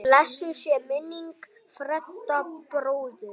Blessuð sé minning Fredda bróður.